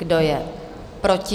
Kdo je proti?